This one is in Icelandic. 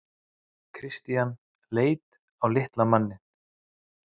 Christian leit á litla manninn.